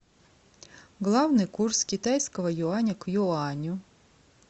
главный курс китайского юаня к юаню